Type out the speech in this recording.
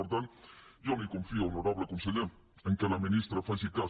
per tant jo no hi confio honorable conseller que la ministra faci cas